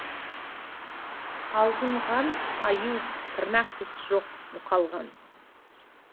алжыған аю тырнақ тіс жоқ мұқалған